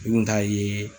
Kunta ye